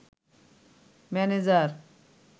manager